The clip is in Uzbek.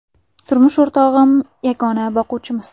Turmush o‘rtog‘im yagona boquvchimiz.